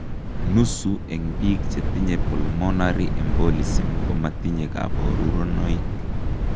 Nusu eng' biik chetinye pulmonary embolism komatinye kaborunoik